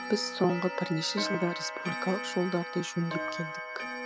біз соңғы бірнеше жылда республикалық жолдарды жөндеп келдік